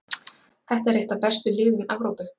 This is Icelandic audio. Þetta er eitt af bestu liðum Evrópu.